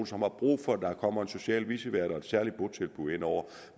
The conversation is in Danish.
som har brug for at der kommer en social vicevært og et særligt botilbud indover